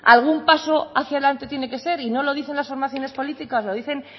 algún paso hacia delante tiene que ser y no lo dicen las formaciones políticas lo dicen